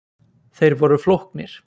Þeir voru flóknir.